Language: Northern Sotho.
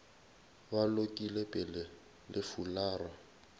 ba lokile pele le fulara